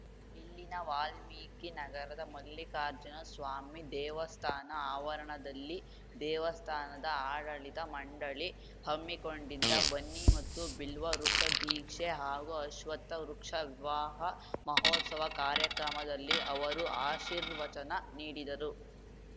ಇಲ್ಲಿನ ವಾಲ್ಮೀಕಿ ನಗರದ ಮಲ್ಲಿಕಾರ್ಜುನಸ್ವಾಮಿ ದೇವಸ್ಥಾನ ಆವರಣದಲ್ಲಿ ದೇವಸ್ಥಾನದ ಆಡಳಿತ ಮಂಡಳಿ ಹಮ್ಮಿಕೊಂಡಿದ್ದ ಬನ್ನಿ ಮತ್ತು ಬಿಲ್ವ ವೃಕ್ಷ ಧೀಕ್ಷೆ ಹಾಗೂ ಅಶ್ವತ್ಥ ವೃಕ್ಷ ವಿವಾಹ ಮಹೋತ್ಸವ ಕಾರ್ಯಕ್ರಮದಲ್ಲಿ ಅವರು ಆಶೀರ್ವಚನ ನೀಡಿದರು